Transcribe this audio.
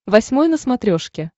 восьмой на смотрешке